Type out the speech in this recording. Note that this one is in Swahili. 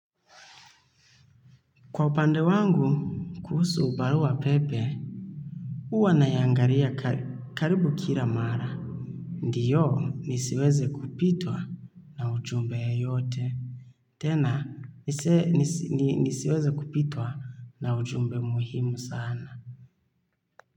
Kwa upande wangu, kuhusu barua pepe. Huwa naiangalia karibu kila mara. Ndio nisiweze kupitwa na ujumbe yoyote. Tena nisiweze kupitwa na ujumbe muhimu sana.